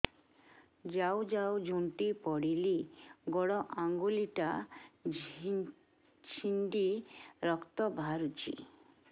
ଯାଉ ଯାଉ ଝୁଣ୍ଟି ପଡ଼ିଲି ଗୋଡ଼ ଆଂଗୁଳିଟା ଛିଣ୍ଡି ରକ୍ତ ବାହାରୁଚି